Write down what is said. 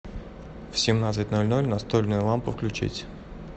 в семнадцать ноль ноль настольную лампу включить